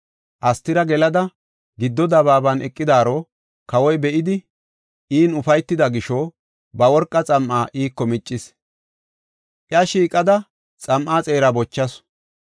Astira gelada, giddo dabaaban eqidaaro kawoy be7idi in ufaytida gisho, ba worqa xam7aa iiko miccis. Iya shiiqada xam7aa xeeraa bochasu.